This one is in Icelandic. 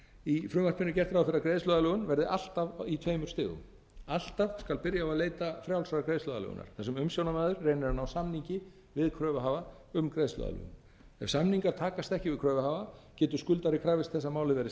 í frumvarpinu er gert ráð fyrir að greiðsluaðlögun verði alltaf í tveimur stigum alltaf skal byrja á að leita frjálsrar greiðsluaðlögunar þar sem umsjónarmaður reynir að ná samningi við kröfuhafa um greiðsluaðlögun ef samningar takast ekki við kröfuhafa getur skuldari krafist þess að málið verði sent